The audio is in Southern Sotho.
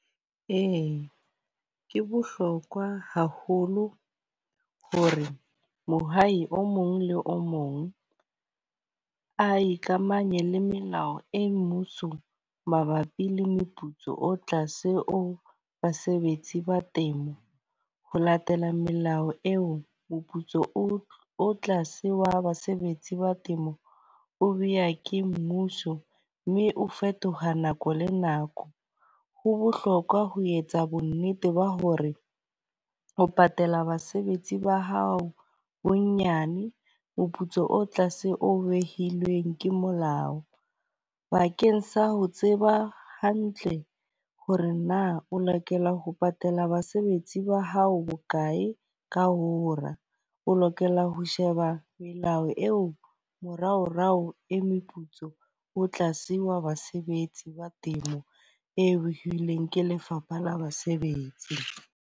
Ee, ke bohlokwa haholo hore mohai o mong le o mong a ikamanye le melao e mmuso mabapi le moputso o tlase o basebetsi ba temo. Ho latela melao eo, moputso o tlase wa basebetsi ba temo o beha ke mmuso. Mme o fetoha nako le nako. Ho bohlokwa ho etsa bo nnete ba hore ho patala basebetsi ba hao bonyane moputso o tlase o behilweng ke molao. Bakeng sa ho tseba hantle hore na o lokela ho patala basebetsi ba hao bokae ka hora. O lokela ho sheba melao eo moraorao e meputso o tla siiwa basebetsi ba temo eo ileng ke Lefapha la Basebetsi.